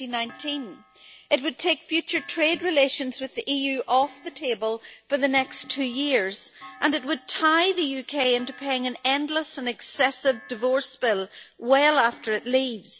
2019. It would take future trade relations with the EU off the table for the next two years, and it would tie the UK into paying an endless and excessive divorce bill well after it leaves.